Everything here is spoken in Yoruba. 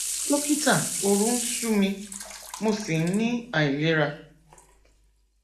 dókítà òru ń ṣú mi mo sì ń ní àìlera